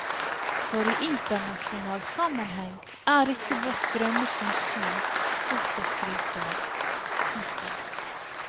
For i internasjonal sammenheng er ikke vårt grønne konsum stort å skryte av. punktum